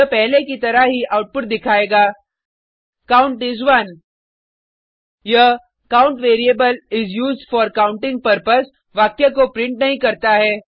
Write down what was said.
यह पहले की तरह ही आउटपुट दिखायेगा काउंट इस 1 यह count variable is used for counting purpose वाक्य को प्रिंट नहीं करता है